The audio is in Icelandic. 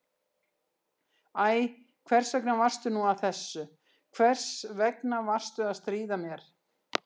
Æ, hvers vegna varstu nú að þessu, hvers vegna varstu að stríða mér?